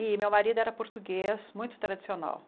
E meu marido era português, muito tradicional.